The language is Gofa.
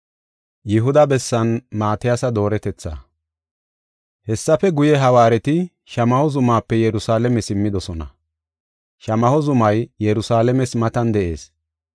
Hessafe guye, hawaareti Shamaho zumaape Yerusalaame simmidosona. Shamaho zumay Yerusalaames matan de7ees.